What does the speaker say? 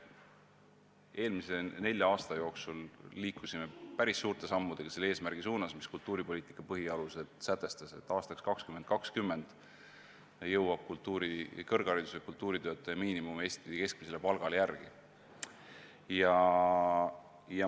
Eelmise nelja aasta jooksul me liikusime päris suurte sammudega selle eesmärgi suunas, mis oli sätestatud kultuuripoliitika põhialustes: et aastaks 2020 jõuab kõrgharidusega kultuuritöötaja miinimum Eesti keskmisele palgale järele.